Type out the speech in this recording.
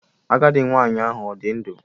Agadị nwanyị ahụ ọ dị ndụ?